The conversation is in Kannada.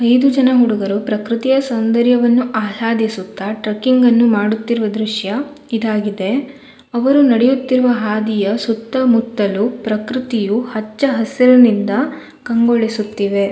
ಏಳು ಜನ ಹುಡುಗರು ಪೃಕೃತಿಯ ಸೌಂದರ್ಯ ಆರಾಧಿಸುತ್ತ ಟ್ರೆಕಿಂಗ್ ನ್ನು ಮಾಡುತ್ತಿರುವ ದೃಶ್ಯ ಇದಾಗಿದೆ ಅವರು ನಡೆಯುತ್ತಿರುವ ಹಾದಿಯ ಸುತ್ತಮುತ್ತಲು ಪೃಕೃತಿಯು ಹಚ್ಚ ಹಸಿರಿನಿಂದ ಕಂಗೊಳಿಸುತ್ತಿದೆ.